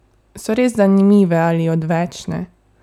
So res zanimive ali odvečne?